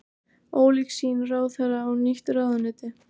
Ólík sýn ráðherra á nýtt ráðuneyti